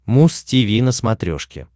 муз тиви на смотрешке